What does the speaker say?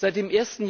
Seit dem